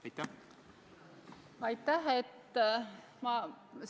Aitäh!